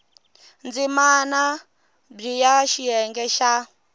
ndzimana b ya xiyenge xa